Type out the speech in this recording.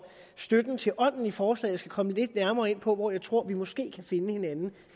støtten til ånden i forslaget komme lidt nærmere ind på hvor jeg tror at vi måske kan finde hinanden